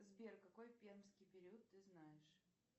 сбер какой пермский период ты знаешь